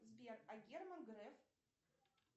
сбер а герман греф